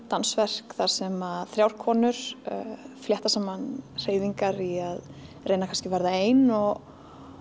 dansverk þar sem þrjár konur flétta saman hreyfingar í að reyna kannski að verða ein og